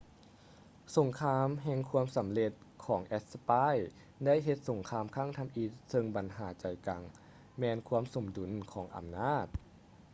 ສົງຄາມແຫ່ງຄວາມສຳເລັດຂອງແອັດສະປາຍໄດ້ເຮັດສົງຄາມຄັ້ງທຳອິດເຊິ່ງບັນຫາໃຈກາງແມ່ນຄວາມສົມດຸນຂອງອຳນາດ